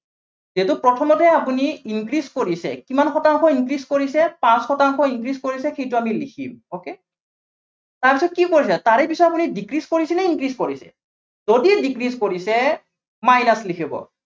যিহেতু প্ৰথমতেই আপুনি increase কৰিছে, কিমান শতাংশ increase কৰিছে, পাঁচ শতাংশ increase কৰিছে, সেইটো আমি লিখিম okay তাৰপিছত কি কৰিছে, তাৰে পিছত আপুনি decrease কৰিছে নে increase কৰিছে? যদি decrease কৰিছে minus লিখিব